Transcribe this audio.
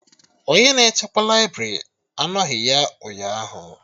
Onye na-echekwa laibrị anoghi ya ụnyaahụ